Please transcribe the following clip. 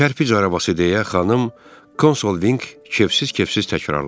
Kərpic arabası deyə xanım Konsolvinq kevsiz-kevsiz təkrarladı.